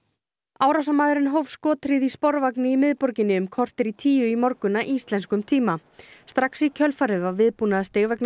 árásarmaðurinn hóf skothríð í sporvagni í miðborginni um korter í tíu í morgun að íslenskum tíma strax í kjölfarið var viðbúnaðarstig vegna